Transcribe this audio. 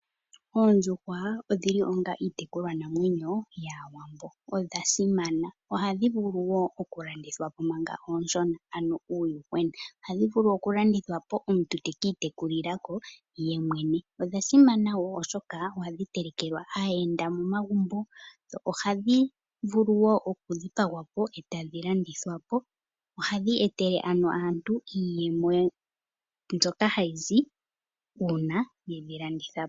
Oondjuhwa odhili onga iitekulwa namwenyo yaawambo. Odhasimana! Ohadhi vulu wo okulandithwa po mpanga ooshona ano uuyuhwenaohadhi vulu okulandithwa po , omuntu ta kiitekulila ko yemwene. Odha simana wo oshokaa ohadhi telekelwa aayenda momagumbo dho ohadhi vulu okudhipagwapo ee tadhi landithwapo. Ohadhi etele ano aantu iiyemo mbyoka hayizi uuna yedhi landithapo.